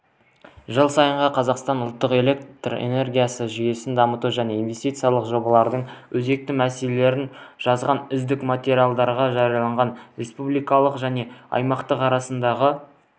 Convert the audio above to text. жыл сайынғы қазақстанның ұлттық электр энергетикасы жүйесін дамыту және инвестициялық жобаларының өзекті мәселелерін жазған үздік материалдарға жарияланған республикалық және аймақтық арасындағы